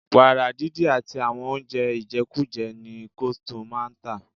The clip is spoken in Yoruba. Wàrà didi àti àwọn oúnjẹ ijekuje ni coldstone máa ń tà.